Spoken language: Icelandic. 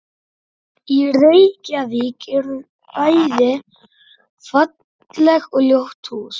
Í Reykjavík eru bæði falleg og ljót hús.